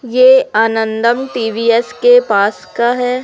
ये आनंदम टी_वी_एस के पास का है।